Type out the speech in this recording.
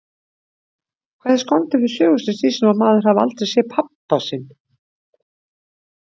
Hvað er skondið við sögu sem snýst um að maður hafi aldrei séð pabba sinn?